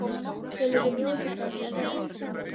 Þá skulum við njóta þess að vera öll saman.